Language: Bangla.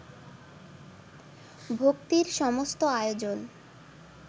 ভক্তির সমস্ত আয়োজন